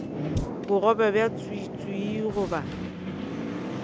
bogobe bja tswiitswii ga bo